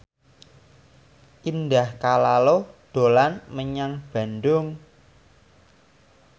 Indah Kalalo dolan menyang Bandung